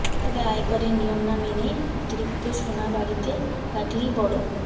তবে আয়করের নিয়ম না মেনে অতিরিক্ত সোনা বাড়িতে রাখলেই বড়